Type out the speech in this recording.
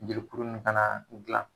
Jelikuru nin fana dilan